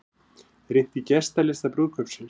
Rýnt í gestalista brúðkaupsins